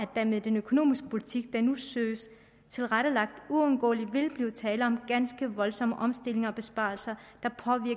der med den økonomiske politik der nu søges tilrettelagt uundgåeligt vil blive tale om ganske voldsomme omstillinger og besparelser